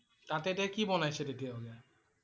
তাত এতিয়া কি বনাইছে তেতিয়াহলে?